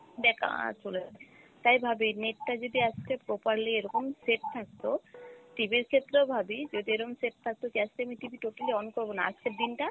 বেকার চলে যায়, তাই ভাবি net টা যদি আজকে properly এরকম set থাকতো, TV র ক্ষেত্রেও ভাবি যদি এরম set থাকতো যে আজকে আমি TV totally on করবো না আজকের দিন টা